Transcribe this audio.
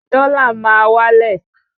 Dọ́là máa wá lẹ̀